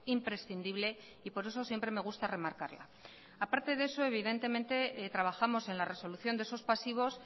imprescindible y por eso siempre me gusta remarcarla a parte de eso evidentemente trabajamos en la resolución de esos pasivos